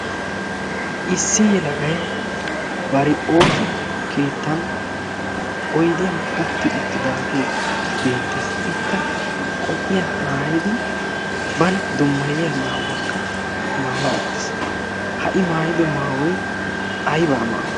issi yelagai bari ooso keettan oidiyan utti uttidaagee beettees. ikka qophphiya maayadi bana dommayiya maawuwaakka maayi wottiis ha'i maayido maawoi aybaa maawuwa?